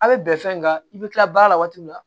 A bɛ bɛn fɛn nan i bɛ kila baara la waati min na